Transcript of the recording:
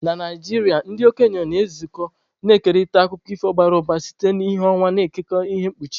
Na Naijiria, ndị okenye na-ezukọ, na-ekerịta akụkọ ifo bara ụba site n'ìhè ọnwa, na-ekekọta ihe mkpuchi.